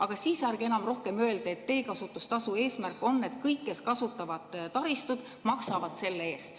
Aga siis ärge enam rohkem öelge, et teekasutustasu eesmärk on see, et kõik, kes kasutavad taristut, maksavad selle eest.